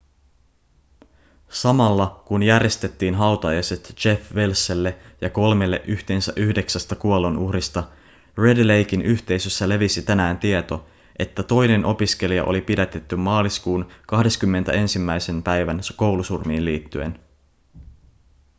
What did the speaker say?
samalla kun järjestettiin hautajaiset jeff welselle ja kolmelle yhteensä yhdeksästä kuolonuhrista red laken yhteisössä levisi tänään tieto että toinen opiskelija oli pidätetty maaliskuun 21 päivän koulusurmiin liittyen